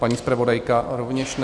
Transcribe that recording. Paní zpravodajka rovněž ne.